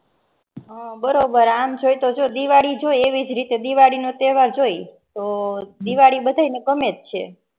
હમ બરોબર આમ જોય તો દિવાળી જો એવી રીતે દિવાળી તહેવાર જોઈ તોહ દિવાળી બધા ને ગમેજ છે.